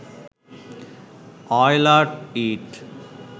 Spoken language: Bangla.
অয়লার ইঁট